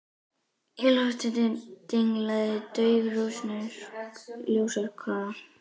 Í loftinu dinglaði dauf rússnesk ljósakróna.